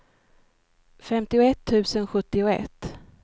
femtioett tusen sjuttioett